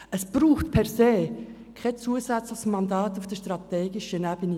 Es braucht per se kein zusätzliches Mandat auf der strategischen Ebene.